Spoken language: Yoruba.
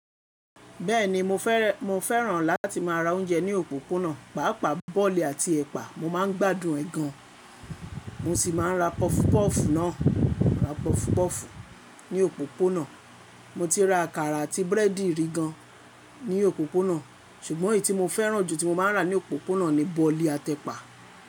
Bẹ́ẹ̀ni mo fẹ́ràn láti má a rà oúnjẹ ní òpópónà, pàápàá bọ̀ọ̀lì àti ẹ̀pà, mo máa ń gbádùn ẹ gan, mo sì máa ń ra pọfupọ́ọ̀fù náà, mo ra pọfupọ́ọ̀fù ní òpópónà, mo ti ra àkàrà àti búrẹ́dì rí gan ní òpópónà, ṣùgbọ́n èyí tí mo fẹ́ràn jù tí mo máa ń rà ní òpópónà ni bọ̀ọ̀lì àti ẹ̀pà.